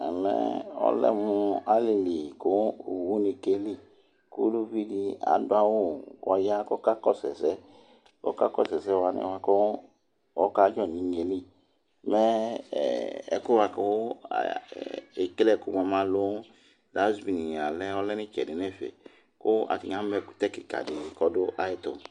ɔlɛ mu alili ku owu ni kéli Ku uluvidi adu awu kɔya kɔka kɔsɛ ɛsɛ Ɔka kɔsu ɛsɛ wani kɔka djɔ nu ignéli Mɛɛkuɛ buaku ekéle ɛku buamɛ alu dazivini ɔlɛ ni itsɛ di nɛfɛ Ku atinia mɛ ɛkutɛ kika ɛdi ku ɔdu ayɛtu